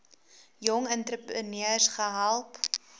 jong entrepreneurs gehelp